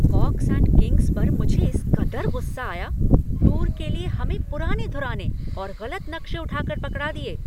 COX and Kings पर मुझे इस कदर गुस्सा आया, टूर के लिए हमें पुराने धुराने और गलत नक्शे उठा कर पकड़ा दिए।